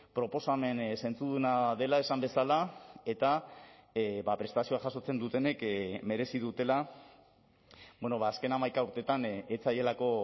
proposamen zentzuduna dela esan bezala eta prestazioa jasotzen dutenek merezi dutela azken hamaika urteetan ez zaielako